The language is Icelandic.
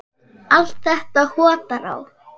Allt þetta hottar á.